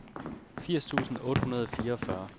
firs tusind otte hundrede og fireogfyrre